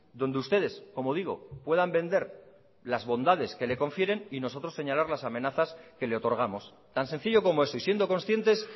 donde ustedes como digo puedan vender las bondades que le confieren y nosotros señalar las amenazas que le otorgamos tan sencillo como eso y siendo conscientes